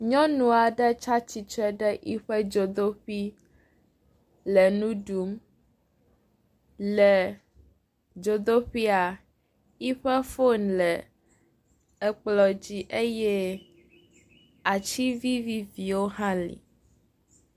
Nyɔnu aɖe tsi atsitre ɖe yiƒe dzodoƒi le nu ɖum. Le dzodoƒia yiƒe foni le ekplɔ dzi eye atsi viviviwo hã li.